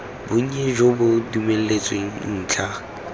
bonnye jo bo dumeletsweng ntlha